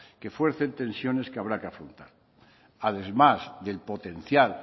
que fuercen tensiones que habrá que afrontar además del potencial